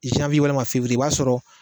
zanwiye walima fewuriye i b'a sɔrɔ